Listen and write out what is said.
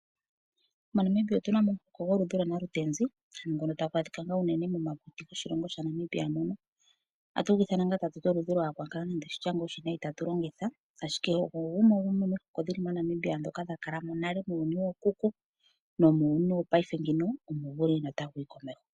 MoNamibia otuna mo omuhoko goludhi lwanalutenzi ngono tagu adhika ngo unene momapipi goshilongo shaNamibia mono. Ohatu gu ithana ta tu ti oludhi lwakakala nenge oshitya oshiwinayi ta tu longitha, ashike ogo gumwe gomihoko dhi li moNamibia dhoka dha kala mo nale nuuyuni wookuku nomuuyuni wo paife ngino omo gu li notagu yi komeho.